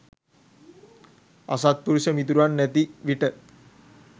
අසත්පුරුෂ මිතුරන් නැති විට